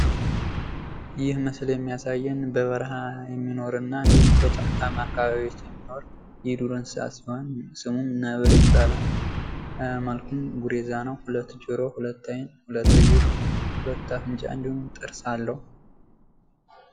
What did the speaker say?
ይህ ምስል የሚያሳየን በበረሃ የሚኖርና እንድሁም በጫካማ አካባቢዎች የሚኖር የዱር እንስሳት ሲሆን ስሙም ነብር ይባላል። መልኩም ጉሬዛ ነው። ሁለት ጆሮ ሁለት አይን ሀለት እግር ሁለት አፍንጫ እንድሁም ጥርስ አለው።